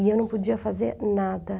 E eu não podia fazer nada.